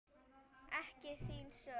Og ekki þín sök.